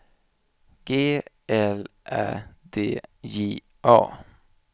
G L Ä D J A